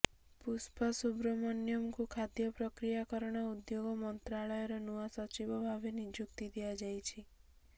ପୁଷ୍ପା ସୁବ୍ରମଣ୍ୟମଙ୍କୁ ଖାଦ୍ୟ ପ୍ରକ୍ରିୟାକରଣ ଉଦ୍ୟୋଗ ମନ୍ତ୍ରଣାଳୟର ନୂଆ ସଚିବ ଭାବେ ନିଯୁକ୍ତି ଦିଆଯାଇଛି